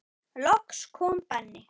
Loks kom Benni.